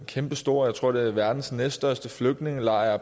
kæmpestor jeg tror det er verdens næststørste flygtningelejr